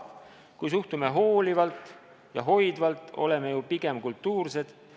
Kui suhtume hoolivalt ja hoidvalt, oleme ju pigem kultuursed.